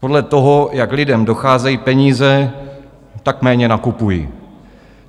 Podle toho, jak lidem docházejí peníze, tak méně nakupují.